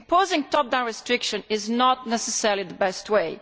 imposing top down restriction is not necessarily the best way.